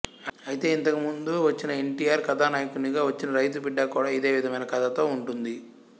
ఐతే ఇంతకు ముందు వచ్చిన ఎన్ టి ఆర్ కథానాయకునిగా వచ్చిన రైతుబిడ్డ కూడా ఇదేవిధమైన కథతో ఉంటుంది